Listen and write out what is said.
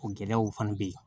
O gɛlɛyaw fana bɛ yen